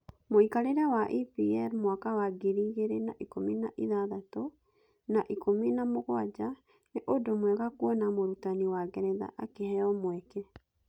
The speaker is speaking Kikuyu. Mũikarĩre wa EPL mwaka wa ngiri igĩrĩ na ikũmi na ithathatũ/na ikũmi na mũgwanja "Nĩ ũndũ mwega kuona mũrutani wa Ngeretha akĩheo mweke.